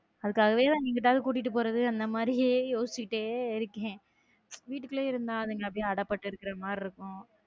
அதுக்காகவே தான் எங்கிட்டாவது கூட்டிட்டு போறது இந்த மாதிரியே யோசிச்சுக்கிட்டே இருக்கேன் வீட்டுக்குள்ள இருந்தா அதுவே அட பட்டு இருக்கிற மாதிரி இருக்கும்.